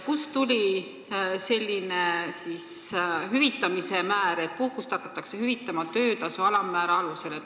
Kust tuli selline hüvitamise määr, et seda puhkust hakatakse hüvitama töötasu alammäära alusel?